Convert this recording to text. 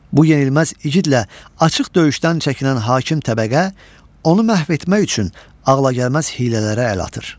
Bu yenilməz igidlə açıq döyüşdən çəkinən hakim təbəqə onu məhv etmək üçün ağlagəlməz hiylələrə əl atır.